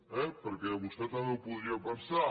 eh perquè vostè també ho podria pensar